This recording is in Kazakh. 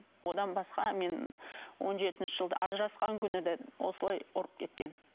одан басқа мен он жетінші жылы да ажырасқан күні де осылай ұрып кеткен